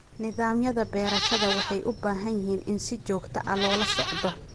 Nidaamyada beerashada waxay u baahan yihiin in si joogto ah loola socdo.